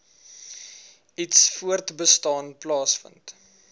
iets voortbestaan plaasvind